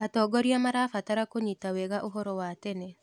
Atongoria marabatara kũnyita wega ũhoro wa tene.